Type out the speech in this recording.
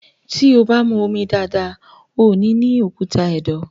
tí o bá mú omi dáadáa, o nì ní òkúta ẹ̀dọ̀.